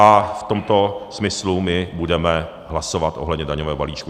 A v tomto smyslu my budeme hlasovat ohledně daňového balíčku.